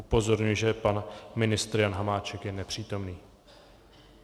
Upozorňuji, že pan ministr Jan Hamáček je nepřítomný.